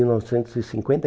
mil novecentos e cinquenta e